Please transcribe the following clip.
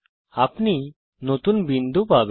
আপনি নতুন বিন্দু পাবেন